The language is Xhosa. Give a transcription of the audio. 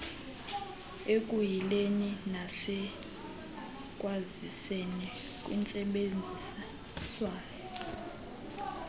ekuyileni nasekwaziseni kwintsebenziswano